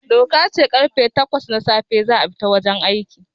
Doka ce karfe takwas na safe za a fita wajen aiki